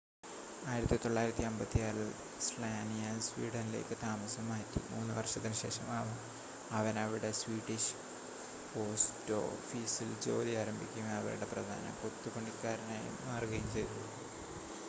1956-ൽ Slania സ്വീഡനിലേക്ക് താമസം മാറ്റി മൂന്ന് വർഷത്തിന് ശേഷം അവൻ അവിടെ സ്വീഡിഷ് പോസ്‌റ്റോഫീസിൽ ജോലി ആരംഭിക്കുകയും അവരുടെ പ്രധാന കൊത്തുപണിക്കാരനായി മാറുകയും ചെയ്തു